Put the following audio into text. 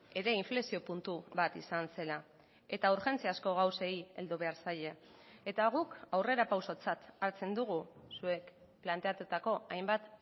ere inflexio puntu bat izan zela eta urgentziazko gauzei heldu behar zaie eta guk aurrerapausotzat hartzen dugu zuek planteatutako hainbat